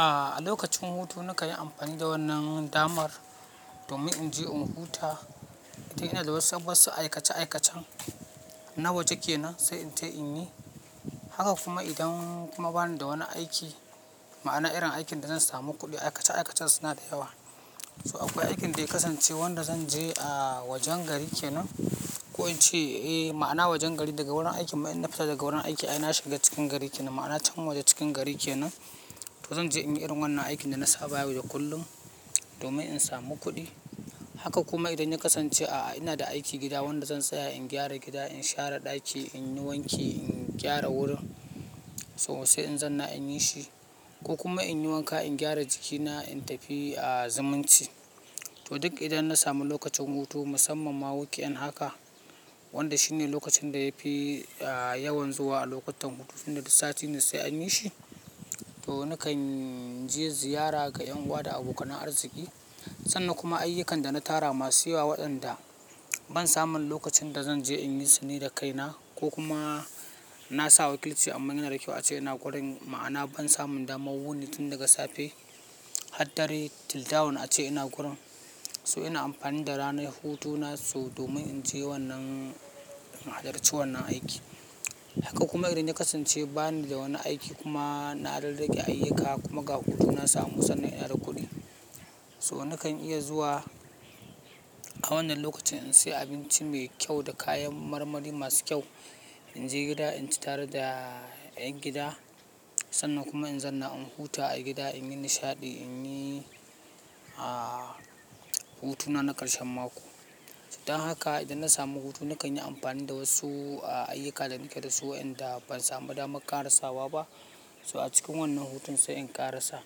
A lokacin hutu na kayi amfani da wannan damar domin in je in huta. Dan inada wasu aikace-aikacen nawaje ke nan sai in je in yi haka kuma idan kuma bani da wani aiki ma'ana irin aikin da zan samu kuɗi. Aikace-aikacen suna da yawa. To akwai aikin da ya kasance wanda zan je a wajen gari kenan. Ko in ce eh ma'ana wajen gari daga wurin aikin mu in na fita daga wurin aiki ai na shiga cikin gari kenan. Ma'ana cikin waje cikin gari kenan. To zan je in yi irin wannan aikin da na saba yau da duk kullum domin in samu kuɗi. Haka kuma idan ya kasance a'a ina da aiki gida wanda zan tsaya in gyara gida in share ɗaki in yi wanki in gyara wurin to se in zan na in yi shi. Ko kuma in yi wanka, in gyara jikina, in tafi a zumunci. To duk idan na samu lokacin hutu musamman ma wukyan haka wanda shine lokacin da yafi a yawan zuwa a lokutan hutun tunda duk sati ne se an yi shi. To nakan je ziyara ga 'yan uwa da abokan arziki. Sannan kuma ayyukan da na tara masu yawa waɗanda ban samu lokacin da zan je in yi su ne da kaina. Ko kuma na sa wakilci amma yana da kƙyau ace ina gurin, ma'ana ban samu daman wuni tun daga safe har dare, til dawn ace ina gurin. So ina amfani da ranar hutuna so domin in je wannan, in halarci wannan aiki. Haka kuma idan ya kasance bani da wani aiki kuma na rarrage ayyuka kuma ga hutu na samu sannan ina da kuɗi. So nakan iya zuwa a wannan lokacin in siya abinci me kyau da kayan marmari masu kyau. In je gida, in ci tare da ƴan gida sannan kuma in zanna in huta a gida, in yi nishaɗi, in yi a hutu na na ƙarshen mako. Dan haka idan na samu hutu nakan yi amfani da wasu ayyuka da nake da su waɗanda ban samu daman karasawa ba. So a cikin wannan hutun sai in karasa.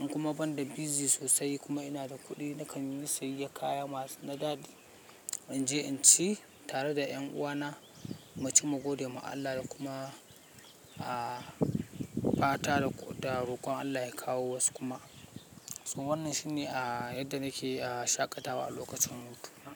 In kuma banda busy sosai kuma ina da kuɗi na kanyi siyayyan kaya masu na-- In je in ci tare da 'yan uwana, mu ci mu gode ma Allah da kuma a fata da roƙon Allah ya kawo wasu kuma. So wannan shine a yadda nake a shaƙatawa a lokacin hutu na.